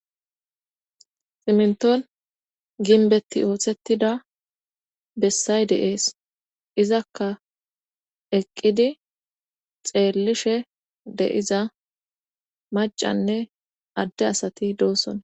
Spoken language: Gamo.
ximnton ginbetti ooththettida bessay de7ees izakka eqqidi xeellishe de7iza macanne adde asati doossona